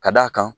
Ka d'a kan